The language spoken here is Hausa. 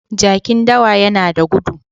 Jakin dawa yana da gudu.